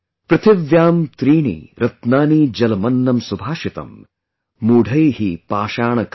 " पृथिव्यां त्रीणि रत्नानि जलमन्नं सुभाषितम् |